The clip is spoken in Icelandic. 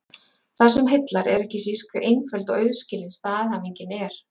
Það sem heillar er ekki síst hve einföld og auðskilin staðhæfingin er.